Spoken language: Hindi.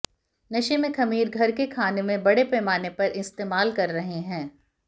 नशे में खमीर घर के खाने में बड़े पैमाने पर इस्तेमाल कर रहे हैं